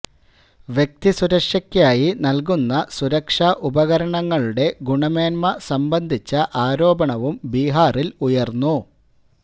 വ്യക്തിസുരക്ഷക്കായി നൽകുന്ന സുരക്ഷ ഉപകരണങ്ങളുടെ ഗുണമേന്മ സംബന്ധിച്ച ആരോപണവും ബിഹാറിൽ ഉയർന്നു